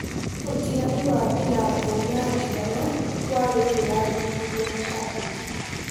Ũtiganu wa Ndirango na Ndigana warĩ ũndũ warigithirie macambĩkĩ